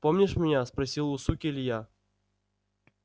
помнишь меня спросил у суки илья